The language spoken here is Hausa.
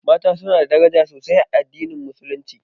Mata su na da daraja sosai a addinin musulunci